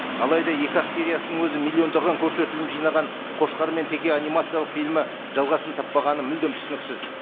алайда екі ақ сериясының өзі миллиондаған көрсетілім жинаған қошқар мен теке анимациялық фильмі жалғасын таппағаны мүлдем түсініксіз